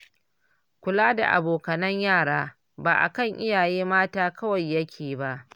Kula da abokanan yara ba akan iyaye mata kawai yake ba